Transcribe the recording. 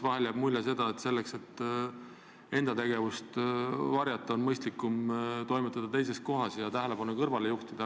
Vahel jääb mulje, et oma tegevuse varjamiseks on mõistlikum toimetada teises kohas ja tähelepanu kõrvale juhtida.